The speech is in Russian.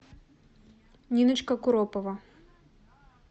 ниночка куропова